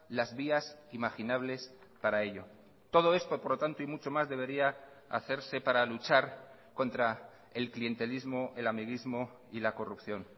las vías imaginables para ello todo esto por lo tanto y mucho más debería hacerse para luchar contra el clientelismo el amiguismo y la corrupción